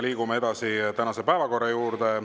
Liigume edasi tänase päevakorra juurde.